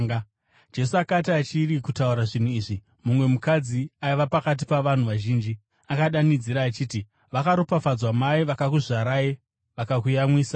Jesu akati achiri kutaura zvinhu izvi, mumwe mukadzi aiva pakati pavanhu vazhinji akadanidzira achiti, “Vakaropafadzwa mai vakakuzvarai vakakuyamwisai.”